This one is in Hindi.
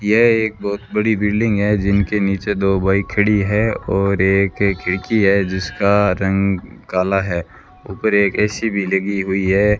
यह एक बहुत बड़ी बिल्डिंग है जिनके नीचे दो बाइक खड़ी है और एक-एक खिड़की है जिसका रंग काला है ऊपर एक ए_सी भी लगी हुई है।